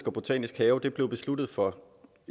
og botanisk have blev besluttet for